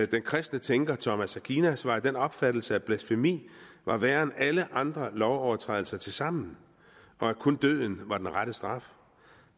den kristne tænker thomas aquinas var af den opfattelse at blasfemi var værre end alle andre lovovertrædelser tilsammen og at kun døden var den rette straf